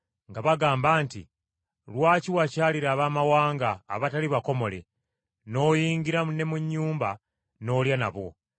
nga bagamba nti, “Lwaki wakyalira Abaamawanga abatali bakomole n’oyingira ne mu nnyumba n’olya nabo?”